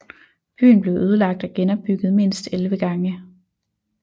Byen blev ødelagt og genopbygget mindst 11 gange